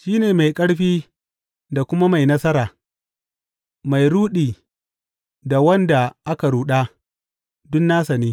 Shi ne mai ƙarfi da kuma mai nasara; mai ruɗi da wanda aka ruɗa, duk nasa ne.